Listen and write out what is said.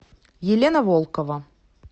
елена волкова